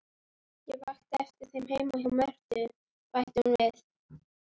Ég vakti eftir þér heima hjá Mörtu, bætti hún við.